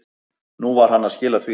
Nú var hann að skila því.